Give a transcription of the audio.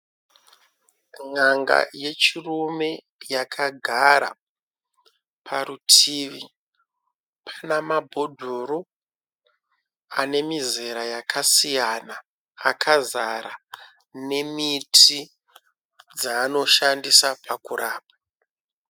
N`anga yechirume yakagara, parutivi pana mabhodhoro ane mizara yakasiyana akazara nemiti yaanoshandisa kurapa.